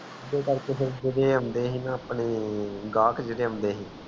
ਉਦੇ ਕਰਕੇ ਫਿਰ ਜੇਦੇ ਆਉਂਦੇ ਸੀ ਨਾ ਆਪਣੇ ਗਾਕ ਜੇੜ੍ਹੇ ਆਉਂਦੇ ਸੀ